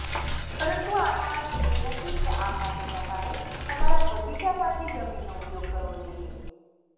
પરંતુ આનો અર્થ એ નથી કે આ માટે તમારે તમારા બગીચામાંથી જમીનનો ઉપયોગ કરવો જોઈએ